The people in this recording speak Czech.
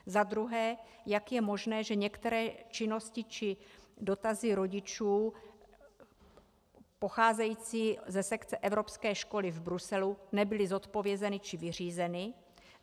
Za druhé: Jak je možné, že některé činnosti či dotazy rodičů pocházející ze sekce Evropské školy v Bruselu nebyly zodpovězeny či vyřízeny?